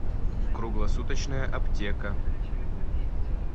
круглосуточная аптека